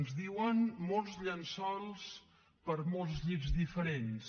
ens diuen molts llençols per a molts llits diferents